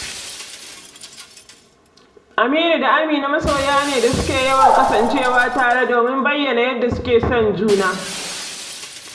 Aminu da Amina masoya ne da suke yawan kasancewa tare domin bayyana yadda suke son junansu